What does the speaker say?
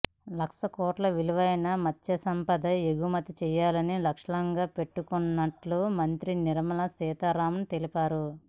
లక్ష కోట్ల విలువైన మత్స్య సంపదను ఎగుమతి చేయాలని లక్ష్యంగా పెట్టుకున్నట్లు మంత్రి నిర్మలా సీతారామన్ తెలిపారు